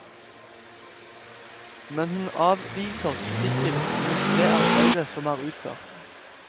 Men hun avviser kritikken mot det arbeidet som er utført.